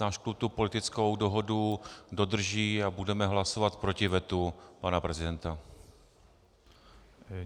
Náš klub tu politickou dohodu dodrží a budeme hlasovat proti vetu pana prezidenta.